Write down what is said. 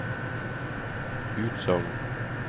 utsagn